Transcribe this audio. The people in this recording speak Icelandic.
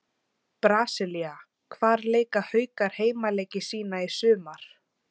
Brasilía Hvar leika Haukar heimaleiki sína í sumar?